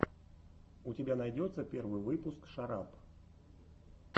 у тебя найдется первый выпуск шарап